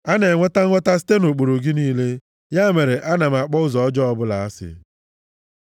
A na-enweta nghọta site nʼụkpụrụ gị niile; ya mere ana m akpọ ụzọ ọjọọ ọbụla asị. נ Nun